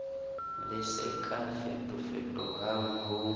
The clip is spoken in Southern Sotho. le se ka fetofetohang ho